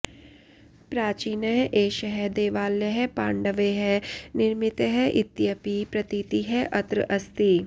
प्राचीनः एषः देवालयः पाण्डवैः निर्मितः इत्यपि प्रतीतिः अत्र अस्ति